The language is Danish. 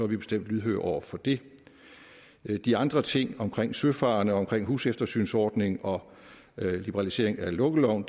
vi bestemt lydhøre over for det de andre ting omkring søfarende og omkring huseftersynsordning og liberalisering af lukkeloven